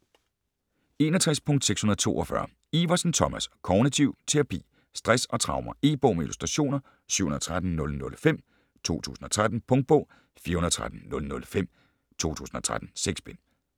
61.642 Iversen, Thomas: Kognitiv terapi Stress og traumer. E-bog med illustrationer 713005 2013. Punktbog 413005 2013. 6 bind.